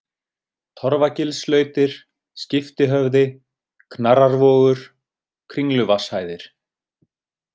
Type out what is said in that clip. Torfagilslautir, Skiptihöfði, Knarrarvogur, Kringluvatnshæðir